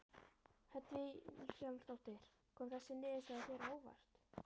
Hödd Vilhjálmsdóttir: Kom þessi niðurstaða þér á óvart?